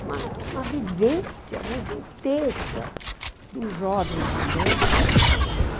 uma uma vivência muito intensa do jovem estudante na sociedade.